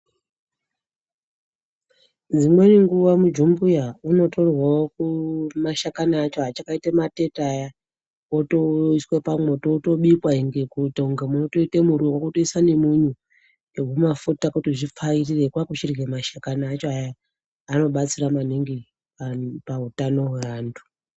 Dzimweni nguwa mujumbuya unotorwawo mashakani acho achakaita matete aya otoiswa pamwoto otobikwa kuita kunga mototite muriwo moisa nemunyu nehumafuta kuti zvipfavirire kwakuchirye mashakani acho ayani anobatsira maningi pautano hweantu.